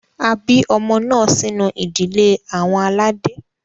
A bi ọmọ naa sinu idile awọn alade.